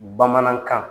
Bamanankan